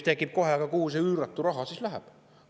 Kohe tekib küsimus, et aga kuhu see üüratu raha siis läheb.